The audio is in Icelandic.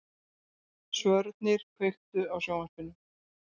Svölnir, kveiktu á sjónvarpinu.